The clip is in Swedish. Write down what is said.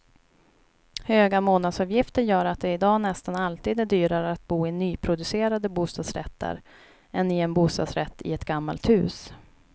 Höga månadsavgifter gör att det i dag nästan alltid är dyrare att bo i nyproducerade bostadsrätter än i en bostadsrätt i ett gammalt hus.